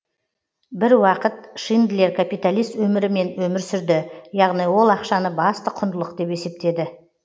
бір уақыт шиндлер капиталист өмірімен өмір сүрді яғни ол ақшаны басты құндылық деп есептеді